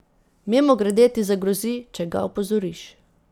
Mimogrede ti zagrozi, če ga opozoriš.